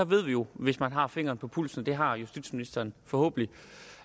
ved jo hvis man har fingeren på pulsen og det har justitsministeren forhåbentlig